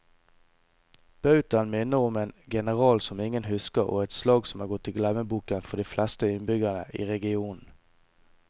Bautaen minner om en general som ingen husker og et slag som er gått i glemmeboken for de fleste innbyggere i regionen.